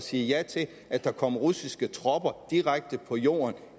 sige ja til at der kom russiske tropper direkte på jorden